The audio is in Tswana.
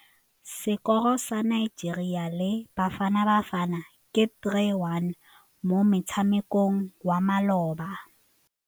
Sekôrô sa Nigeria le Bafanabafana ke 3-1 mo motshamekong wa malôba.